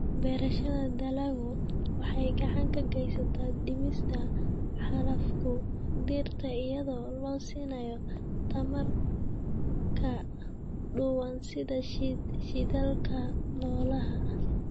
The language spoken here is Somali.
Beerashada dalaggu waxay gacan ka geysataa dhimista xaalufka dhirta iyadoo la siinayo tamar ka duwan sida shidaalka noolaha.